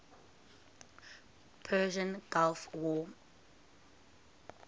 persian gulf war